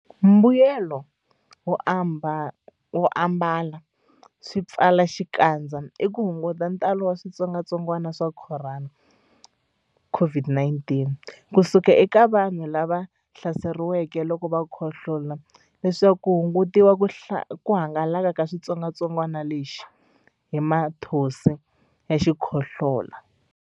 Mbuyelonkulu wo ambala swipfalaxikandza i ku hunguta ntalo wa xitsongwantsongwana xa Khorona, COVID-19, ku suka eka vanhu lava hlaseriweke loko va khohlola leswaku ku hungutiwa ku hangalaka ka xitsongwantsongwana lexi hi mathonsi ya xikhohlola.